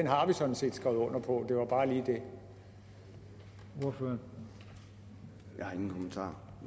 har vi sådan set skrevet under på det var bare